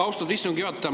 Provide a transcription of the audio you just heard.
Austatud istungi juhataja!